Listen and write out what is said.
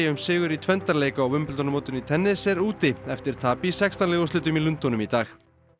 sigur í tvenndarleik á Wimbledon mótinu í tennis er úti eftir tap í sextán liða úrslitum í Lundúnum í dag